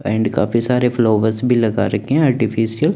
and काफी सारे flowers भी लगा रखे हैं आर्टिफिशियल --